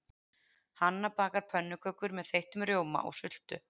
Hanna bakar pönnukökur með þeyttum rjóma og sultu.